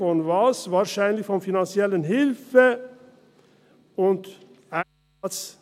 Von was? – Wahrscheinlich von finanzieller Hilfe und ...